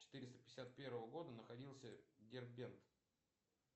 четыреста пятьдесят первого года находился дербент